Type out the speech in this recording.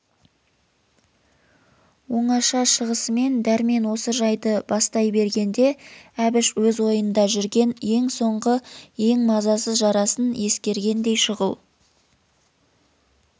оңаша шығысымен дәрмен осы жайды бастай бергенде әбіш өз ойында жүрген ең соңғы ең мазасыз жарасын ескергендей шұғыл